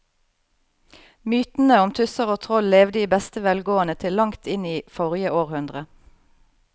Mytene om tusser og troll levde i beste velgående til langt inn i forrige århundre.